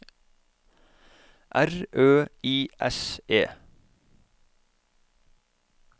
R Ø I S E